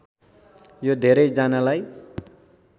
यो धेरै जनालाई